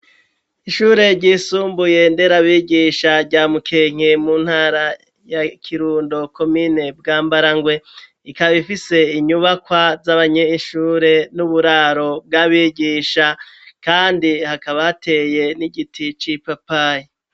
Ishure ryisumbuye ndera abigisha rya Mukenke mu ntara ya Kirundo, komine Bwambarangwe, ikaba ifise inyubakwa z'abanyeshure n'uburaro bw'abigisha, kandi hakaba hateye n'igiti c'ipapayi.